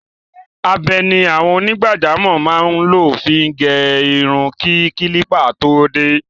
Abẹ ni àwọn onígbàjamọ̀ máa ń lò fi gẹrun kí kílípà tó dé.